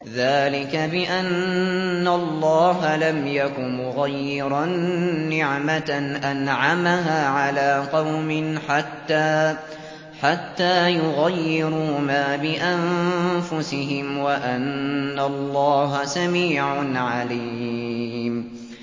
ذَٰلِكَ بِأَنَّ اللَّهَ لَمْ يَكُ مُغَيِّرًا نِّعْمَةً أَنْعَمَهَا عَلَىٰ قَوْمٍ حَتَّىٰ يُغَيِّرُوا مَا بِأَنفُسِهِمْ ۙ وَأَنَّ اللَّهَ سَمِيعٌ عَلِيمٌ